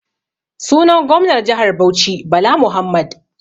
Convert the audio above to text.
Sunan gomnar jihar Bauchi Bala Muhammad.